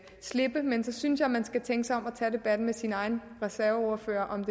slippe men så synes jeg man skal tænke sig om og tage debatten med sin egen reserveordfører om